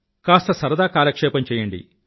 కాస్త సరదా కాలక్షేపం చేయండి